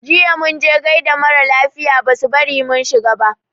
Jiya mun je gaida mara lafiya basu bari mun shiga ba.